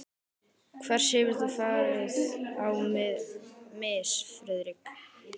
Hvers hefur þú farið á mis, Friðrik?